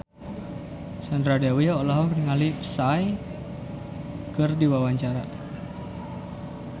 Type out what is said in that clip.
Sandra Dewi olohok ningali Psy keur diwawancara